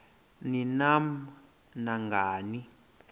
ni nam nangani